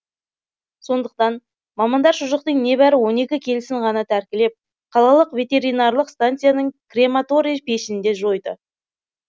сондықтан мамандар шұжықтың небәрі он екі келісін ғана тәркілеп қалалық ветеринарлық станцияның крематорий пешінде жойды